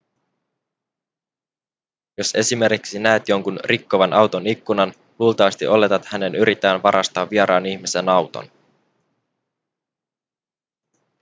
jos esimerkiksi näet jonkun rikkovan auton ikkunan luultavasti oletat hänen yrittävän varastaa vieraan ihmisen auton